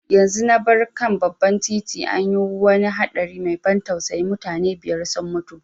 Yanzu na bar kan babban titi, an yi wani haɗari mai ban tausayi, mutane biyar sun mutu.